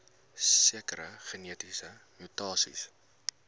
sekere genetiese mutasies